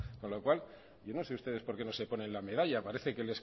con lo cual yo no sé ustedes porque no se ponen la medalla parece que